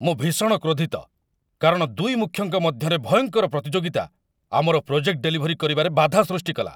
ମୁଁ ଭୀଷଣ କ୍ରୋଧିତ, କାରଣ ଦୁଇ ମୁଖ୍ୟଙ୍କ ମଧ୍ୟରେ ଭୟଙ୍କର ପ୍ରତିଯୋଗିତା ଆମର ପ୍ରୋଜେକ୍ଟ ଡେଲିଭରୀ କରିବାରେ ବାଧା ସୃଷ୍ଟିକଲା।